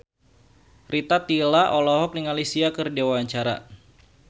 Rita Tila olohok ningali Sia keur diwawancara